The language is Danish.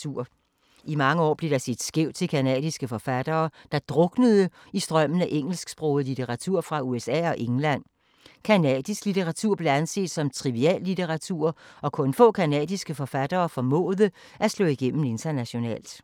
I mange år blev der set skævt til canadiske forfattere, der druknede i strømmen af engelsksproget litteratur fra USA og England. Canadisk litteratur blev anset som triviallitteratur og kun få canadiske forfattere formåede at slå igennem internationalt.